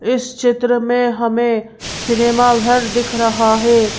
इस चित्र में हमें सिनेमा घर दिख रहा है।